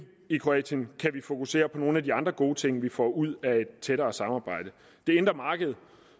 i kroatien kan vi fokusere på nogle af de andre gode ting vi får ud af et tættere samarbejde det indre marked